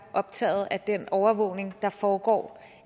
optaget af den overvågning der foregår